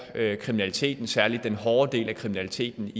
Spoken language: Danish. kriminaliteten særlig den hårde del af kriminaliteten